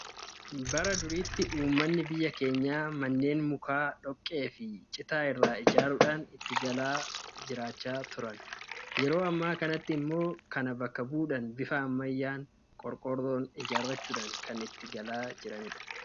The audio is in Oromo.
Bara duriitti uummanni biyya keenyaa manneen mukaa dhoqqee fi citaa irraa ijaaruudhaan itti galuun jireenya isaanii gaggeeffatu. Yeroo ammaa kanatti immoo kana bakka bu'uudhaan bifa ammayyaan qorqoorroo ijaarrachuun kan itti galaa jirudha.